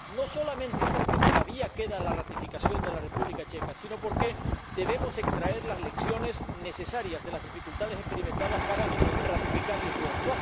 No solamente porque todavía queda la ratificación de la República Checa, sino porque debemos extraer las lecciones necesarias de las dificultades experimentadas para ratificar el Tratado de Lisboa.